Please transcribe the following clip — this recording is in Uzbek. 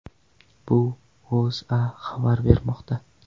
Bu O‘zA xabar bermoqda .